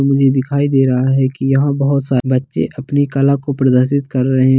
मुझे दिखाई दे रहा है की यहाँ बहुत-सा बच्चे अपनी काला को प्रदर्शित कर रहे --